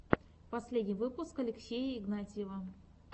последний выпуск алексея игнатьева